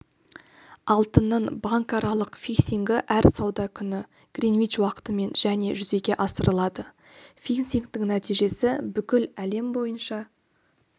алтынның банкаралық фиксингі әр сауда күні гринвич уақытымен және жүзеге асырылады фиксингтің нәтижесі бүкіл әлем бойынша